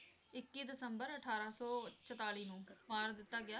ਇੱਕੀ ਦਸੰਬਰ ਅਠਾਰਾਂ ਸੌ ਚੁਤਾਲੀ ਨੂੰ ਮਾਰ ਦਿਤਾ ਗਿਆ।